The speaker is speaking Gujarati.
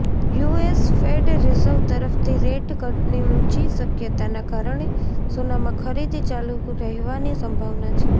યુએસ ફેડ રિઝર્વ તરફથી રેટ કટની ઊંચી શક્યતાના કારણે સોનામાં ખરીદી ચાલુ રહેવાની સંભાવના છે